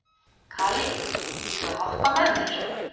Kali, viltu hoppa með mér?